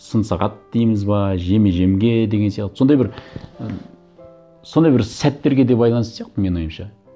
сын сағат дейміз бе жеме жемге деген сияқты сондай бір і сондай бір сәттерге де байланысты сияқты менің ойымша